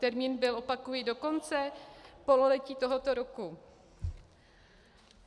Termín byl, opakuji, do konce pololetí tohoto roku.